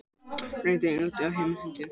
Reyndi eigandinn að hemja hundinn